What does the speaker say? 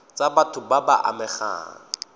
tsa batho ba ba amegang